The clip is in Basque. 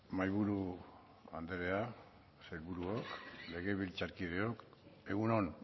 mahaiburu andrea sailburuok legebiltzarkideok egun on